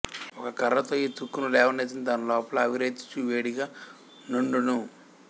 ఒక కఱ్ఱతో ఈ తుక్కును లేవనెత్తిన దానిలోపల ఆవిరెత్తుచు వేడిగ నుండును